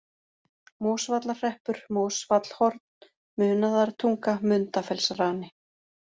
Mosvallahreppur, Mosvallhorn, Munaðartunga, Mundafellsrani